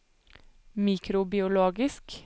mikrobiologisk